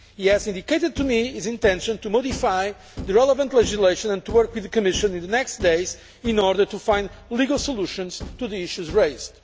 He has indicated to me his intention to modify the relevant legislation and to work with the Commission in the coming days in order to find legal solutions to the issues raised.